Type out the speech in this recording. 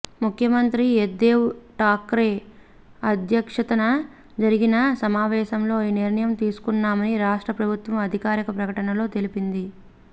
ముఖ్యమంత్రి ఉద్దవ్ ఠాక్రే అధ్యక్షతన జరిగిన సమావేశంలో ఈ నిర్ణయం తీసుకున్నామని రాష్ట్ర ప్రభుత్వం అధికారిక ప్రకటనలో తెలిపింది